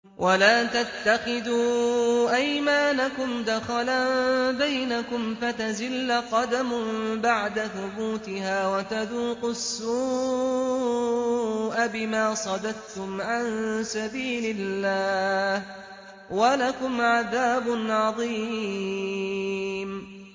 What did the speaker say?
وَلَا تَتَّخِذُوا أَيْمَانَكُمْ دَخَلًا بَيْنَكُمْ فَتَزِلَّ قَدَمٌ بَعْدَ ثُبُوتِهَا وَتَذُوقُوا السُّوءَ بِمَا صَدَدتُّمْ عَن سَبِيلِ اللَّهِ ۖ وَلَكُمْ عَذَابٌ عَظِيمٌ